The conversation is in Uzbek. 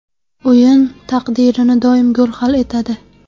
O‘yin taqdirini doim gol hal etadi.